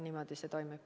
Niimoodi see toimib.